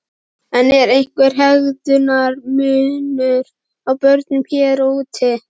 En er einhver hegðunar munur á börnum hér og úti?